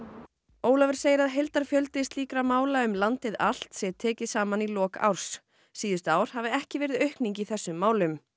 Ólafur segir að heildarfjöldi slíkra mála um landið allt sé tekinn saman í lok árs síðustu ár hafi ekki verið aukning í þessum málum